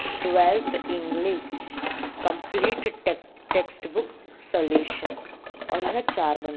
Right English complete take textbook solutions और ये है चार बंडल ।